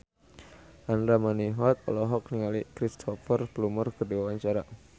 Andra Manihot olohok ningali Cristhoper Plumer keur diwawancara